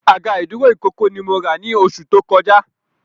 Àga ìdúró ìkókó ni mo rà ni oṣù tó kọjá